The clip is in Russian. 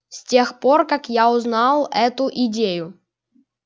с тех пор как я узнал эту идею